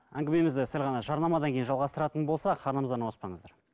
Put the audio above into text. әңгімемізді сәл ғана жарнамадан кейін жалғастыратын болсақ арнамыздан ауыспаңыздар